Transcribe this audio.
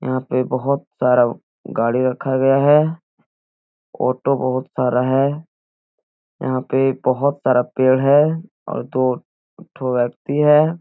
यहाँ पे बहोत सारा गाड़ी रखा गया है ऑटो बहोत सारा है यहाँ पे बहोत सारा पेड़ है और दो ठो व्यक्ति है।